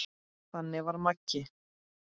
Þannig var Maggi.